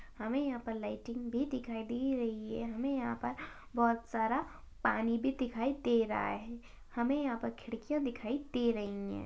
हमे यहाँ पे लाइटिंग भी दिखाई दी रही है। हमे यहाँ पर बहुत सारा पानी भी दिखाई दे रहा है। हमे यहाँ पर खिड्किया दिखाई दे रही है।